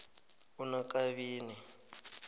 unakabini